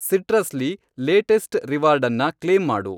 Citrus ಲಿ latest ರಿವಾರ್ಡನ್ನ claim ಮಾಡು.